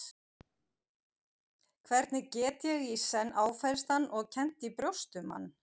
Hvernig get ég í senn áfellst hann og kennt í brjósti um hann?